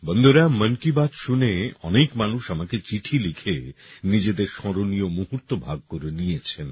বন্ধুরা মন কি বাত শুনে অনেক মানুষ আমাকে চিঠি লিখে নিজেদের স্মরণীয় মুহূর্ত ভাগ করে নিয়েছেন